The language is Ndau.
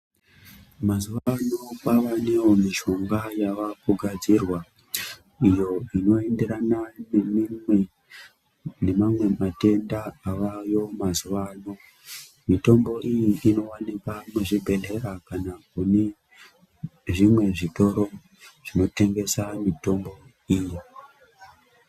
Mazuva ano pavanewo mishonga yavakugadzirwa iyo inoenderana nemamwe matenda avayo mazuvano, mitombo iyi inowanikwa muzvibhedhlera kana kune zvimwe zvitoro zvinotengesa mitombo iyo.